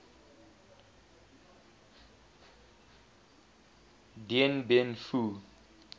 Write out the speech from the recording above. dien bien phu